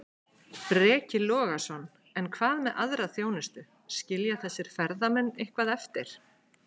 Breki Logason: En hvað með aðra þjónustu, skilja þessir ferðamenn eitthvað eftir?